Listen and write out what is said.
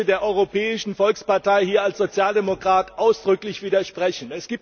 Ich möchte der Europäischen Volkspartei als Sozialdemokrat hier ausdrücklich widersprechen.